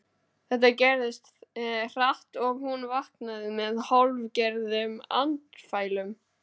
Þetta gerðist hratt og hún vaknaði með hálfgerðum andfælum.